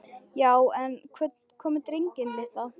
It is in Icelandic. Já en. hvað með drenginn litla?